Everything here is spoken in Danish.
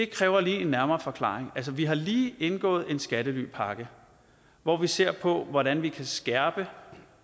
kræver en nærmere forklaring vi har lige indgået en skattelypakke hvor vi ser på hvordan vi kan skærpe